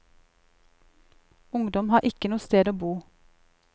Ungdom har ikke noe sted å bo.